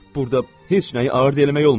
Burda heç nəyi ağır eləmək olmur.